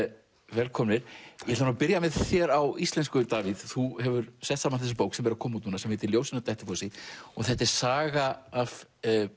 velkomnir ég ætla að byrja með þér á íslensku Davíð þú hefur sett saman þessa bók sem er að koma út sem heitir ljósin á Dettifossi þetta er saga af